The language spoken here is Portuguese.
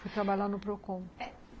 Fui trabalhar no Procon.